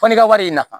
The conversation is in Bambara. Fɔ n'i ka wari in na